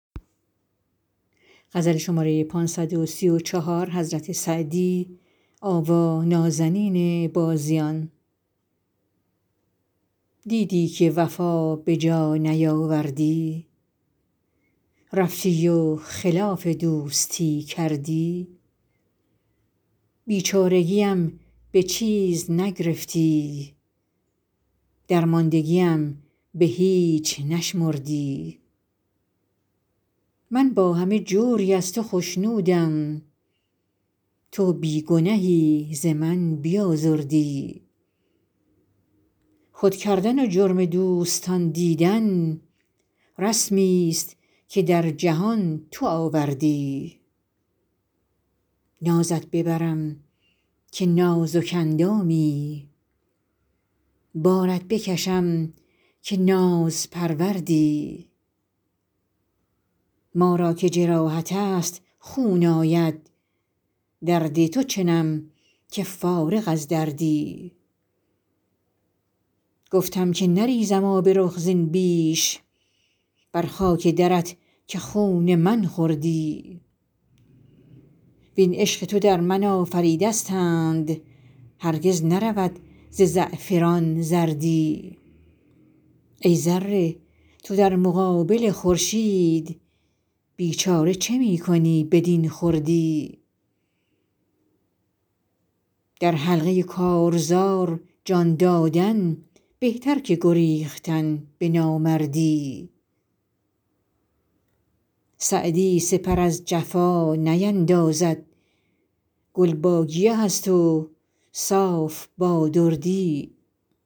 دیدی که وفا به جا نیاوردی رفتی و خلاف دوستی کردی بیچارگیم به چیز نگرفتی درماندگیم به هیچ نشمردی من با همه جوری از تو خشنودم تو بی گنهی ز من بیازردی خود کردن و جرم دوستان دیدن رسمیست که در جهان تو آوردی نازت ببرم که نازک اندامی بارت بکشم که نازپروردی ما را که جراحت است خون آید درد تو چنم که فارغ از دردی گفتم که نریزم آب رخ زین بیش بر خاک درت که خون من خوردی وین عشق تو در من آفریدستند هرگز نرود ز زعفران زردی ای ذره تو در مقابل خورشید بیچاره چه می کنی بدین خردی در حلقه کارزار جان دادن بهتر که گریختن به نامردی سعدی سپر از جفا نیندازد گل با گیه است و صاف با دردی